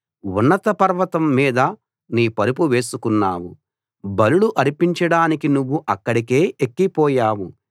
ఉన్నత పర్వతం మీద నీ పరుపు వేసుకున్నావు బలులు అర్పించడానికి నువ్వు అక్కడికే ఎక్కి పోయావు